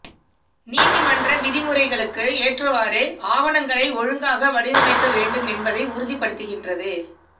நீதிமன்ற விதிமுறைகளுக்கு ஏற்றவாறு ஆவணங்களை ஒழுங்காக வடிவமைக்க வேண்டும் என்பதை உறுதிப்படுத்துகிறது